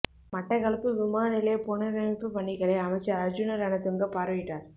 மட்டக்களப்பு விமான நிலைய புனரமைப்புப் பணிகளை அமைச்சர் அர்ஜுன ரணதுங்க பார்வையிட்டார்